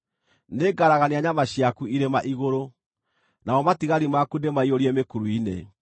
Nĩngaragania nyama ciaku irĩma igũrũ, namo matigari maku ndĩmaiyũrie mĩkuru-inĩ.